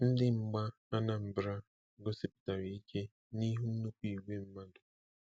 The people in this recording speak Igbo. Ndị mgba Anambra gosipụtara ike nihu nnukwu igwe mmadụ.